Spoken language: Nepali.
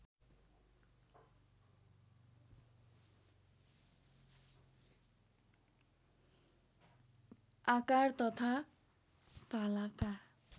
आकार तथा भालाका